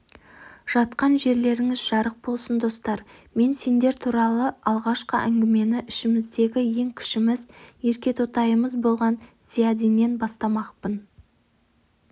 жатқа жерлеріңіз жарық болсын достар мен сендер туралы алғашқы әңгімені ішіміздегі ең кішіміз еркетотайымыз болған зиядиннен бастамақпын